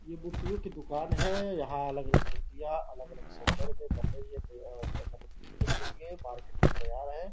ये मूर्तियों की दुकान है यहां अलग-अलग मूर्तियां अलग अलग सौंदर्य पर बन रही हैं ये आ देखने के लिए मार्केट में तैयार है।